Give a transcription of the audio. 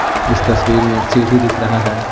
इस तस्वीर में सीढ़ी दिख रहा है।